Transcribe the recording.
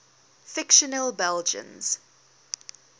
fictional belgians